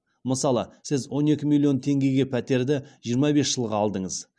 мысалы сіз он екі миллион теңгеге пәтерді жиырма бес жылға алдыңыз